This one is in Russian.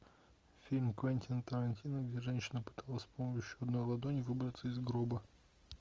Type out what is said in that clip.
фильм квентина тарантино где женщина пыталась с помощью одной ладони выбраться из гроба